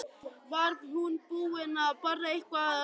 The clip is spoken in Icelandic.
Var hún búin að borða eitthvað að ráði?